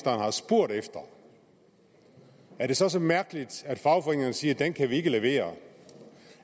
har spurgt efter er det så så mærkeligt at fagforeningerne siger at den kan de ikke levere